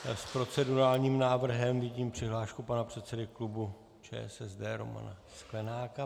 S procedurálním návrhem vidím přihlášku pana předsedy klubu ČSSD Romana Sklenáka.